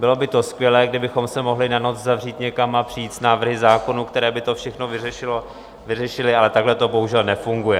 Bylo by skvělé, kdybychom se mohli na noc zavřít někam a přijít s návrhy zákonů, které by to všechno vyřešily, ale takhle to bohužel nefunguje.